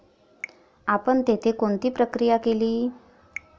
आपण तेथे कोणती प्रक्रिया केली?